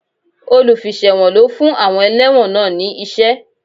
Olùfiṣẹ̀wọ̀n ló fún àwọn ẹlẹ́wọ̀n náà ní iṣẹ́